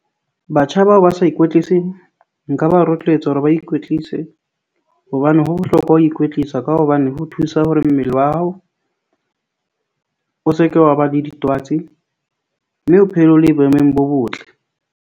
Batjha bao ba sa ikwetliseng nka ba rotloetsa hore ba ikwetlise, hobane ho bohlokwa ho ikwetlisa ka hobane ho thusa hore mmele wa hao o se ke wa ba le ditwatsi. Mme o phele o le boemong bo botle.